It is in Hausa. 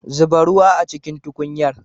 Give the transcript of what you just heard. Zuba ruwa a cikin tukunyar.